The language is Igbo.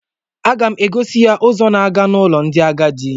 A ga m egosi ya ụzọ na-aga n'ụlọ ndị agadi